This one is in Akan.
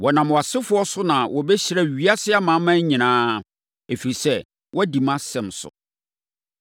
Wɔnam wʼasefoɔ so na wɔbɛhyira ewiase amanaman nyinaa, ɛfiri sɛ, woadi mʼasɛm so.”